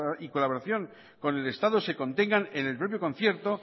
y colaboración con el estado se contengan en el propio concierto